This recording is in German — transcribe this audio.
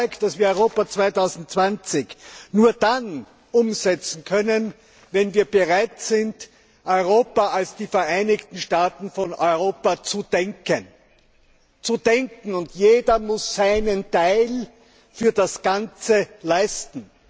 Ich bin davon überzeugt, dass wir Europa 2020 nur dann umsetzen können, wenn wir bereit sind, Europa die EU als die Vereinigten Staaten von Europa zu denken! Zu denken und jeder muss seinen Teil für das Ganze leisten!